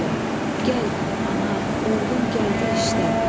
Gəl, ana, oğlun gəldi işdə!